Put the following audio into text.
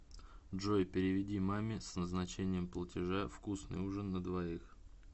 джой переведи маме с назначением платежа вкусный ужин на двоих